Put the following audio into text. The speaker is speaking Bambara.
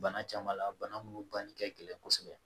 Bana caman la bana minnu banni ka gɛlɛn kosɛbɛ